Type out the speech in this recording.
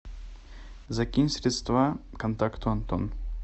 закинь средства контакту антон